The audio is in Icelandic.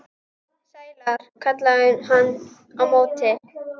Sælar, kallaði hann á móti.